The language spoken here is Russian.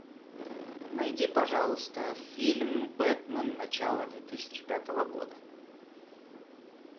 найди пожалуйста фильм бэтмен начало две тысячи пятого года